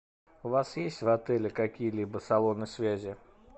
у вас есть в отеле какие либо салоны связи